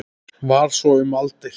Var svo um aldir.